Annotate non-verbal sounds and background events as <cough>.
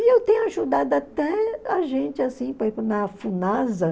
E eu tenho ajudado até a gente, assim <unintelligible>